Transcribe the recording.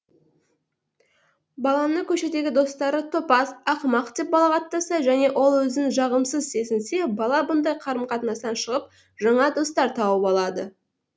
баланы көшедегі достары топас ақымақ деп балағаттаса және ол өзін жағымсыз сезінсе бала мұндай қарым қатынастан шығып жаңа достар тауып алады